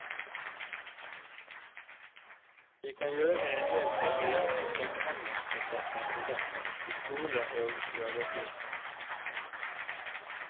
Vi kan gjøre endel for å hjelpe samhandlingsprosesser i gang, i skole og i arbeidsliv.